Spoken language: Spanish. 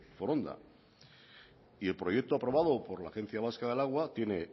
foronda y el proyecto aprobado por la agencia vasca del agua tiene